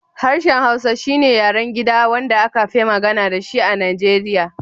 Harshen Hausa shi ne yaren gida wanda aka fi magana da shi a Nigeriya